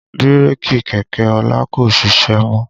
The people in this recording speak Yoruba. Bírèkì kẹ̀kẹ́ ọlá kò ṣiṣẹ́ mọ́